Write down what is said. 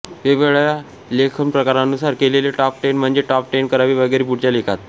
वेगेवेगळ्या लेखनप्रकारांनुसार केलेले top ten म्हणजे टॉप टेन कवी वगैरे पुढच्या लेखात